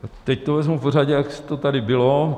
Teď to vezmu po řadě, jak to tady bylo.